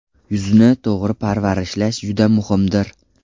Yuzni to‘g‘ri parvarishlash juda muhimdir.